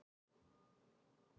En það er víst of seint núna.